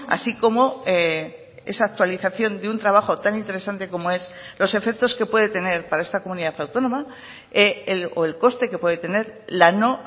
así como esa actualización de un trabajo tan interesante como es los efectos que puede tener para esta comunidad autónoma o el coste que puede tener la no